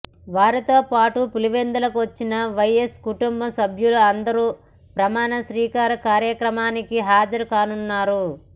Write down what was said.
వారితో పాటు పులివెందుల నుంచి వైఎస్ కుటుంబ సభ్యులు అందరూ ప్రమాణ స్వీకార కార్యక్రమానికి హాజరు కానున్నారు